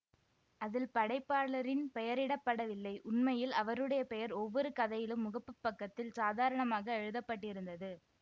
அதில் படைப்பாளரின் பெயரிடப்படவில்லை உண்மையில் அவருடைய பெயர் ஒவ்வொரு கதையிலும் முகப்பு பக்கத்தில் சாதாரணமாக எழுத பட்டிருந்தது